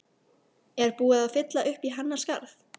Er búið að fylla uppí hennar skarð?